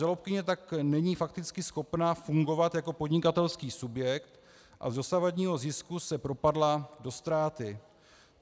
Žalobkyně tak není fakticky schopná fungovat jako podnikatelský subjekt a z dosavadního zisku se propadla do ztráty.